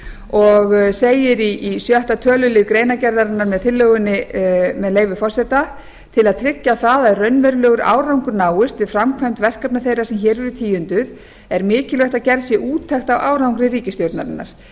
og segir í sjötta tölulið greinargerðarinnar með tillögunni með leyfi forseta til að tryggja það að raunverulegur árangur náist við framkvæmd verkefna þeirra sem hér eru tíunduð er mikilvægt að gerð sé úttekt á árangri ríkisstjórnarinnar